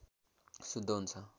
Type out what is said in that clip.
शुद्ध हुन्छ